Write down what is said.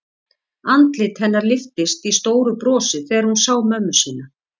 Andlit hennar lyftist í stóru brosi þegar hún sá mömmu sína.